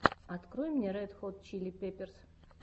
открой мне ред хот чили пеперс